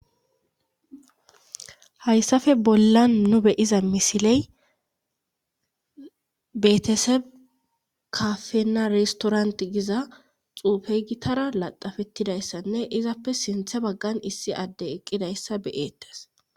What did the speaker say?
Hayssafe bollan nu beyiza misiley betese kafenna reistorant giza xuufey gitara laxafettidayssanne izappe sinthe baggan issi adde eqqidayssa beyettes.